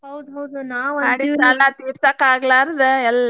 ಹೌದ್ ಬಿಡ್ರಿ ನಾವ್ .